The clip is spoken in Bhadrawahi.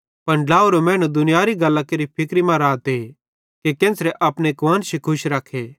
पन ड्लावरो मैनू दुनियारी गल्लां केरि फिक्री मां रहते कि केन्च़रे अपने कुआन्शी खुश रखे